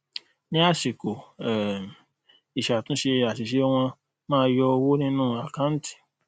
ni asiko um isatunse asise won maa yo owo ninu akanti